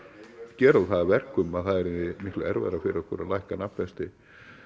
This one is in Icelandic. gera það að verkum að það yrði miklu erfiðara fyrir okkur að lækka nafnvexti